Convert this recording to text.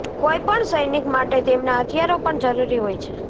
કોઇપણ સૈનિક માટે તેમના હથિયારો પણ જરૂરી હોય છે